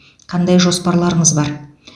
қандай жоспарларыңыз бар